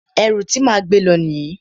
Ẹrù ti máa gbé lọ nìyí.